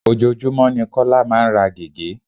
Ojoojúmó ni Kọ́lá máa ń ra gege.